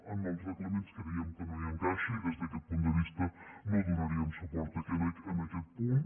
en els reglaments creiem que no hi encaixa i des d’aquest punt de vista no donaríem suport a aquest punt